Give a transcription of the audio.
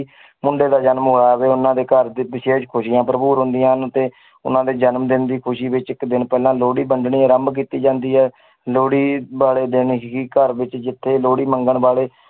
ਮੁੰਡੇ ਦਾ ਜਨਮ ਹੋਇਆ ਹੋਵੇੇੇ, ਉਹਨਾਂ ਦੇ ਘਰ ਤੇ ਵਿਸ਼ੇਸ਼ ਖ਼ੁਸ਼ੀਆਂ ਭਰਪੂਰ ਹੁੰਦੀਆਂ ਹਨ ਤੇ ਉਹਨਾਂ ਦੇ ਜਨਮ ਦਿਨ ਦੀ ਖ਼ੁਸ਼ੀ ਵਿੱਚ ਇੱਕ ਦਿਨ ਪਹਿਲਾਂ ਲੋਹੜੀ ਵੰਡਣੀ ਆਰੰਭ ਕੀਤੀ ਜਾਂਦੀ ਹੈ ਲੋਹੜੀ ਵਾਲੇੇ ਦਿਨ ਹੀ ਘਰ ਵਿੱਚ ਜਿੱਥੇ ਲੋਹੜੀ ਮੰਗਣ ਵਾਲੇ